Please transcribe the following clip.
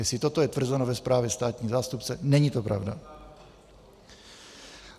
Jestli toto je tvrzeno ve zprávě státního zástupce, není to pravda.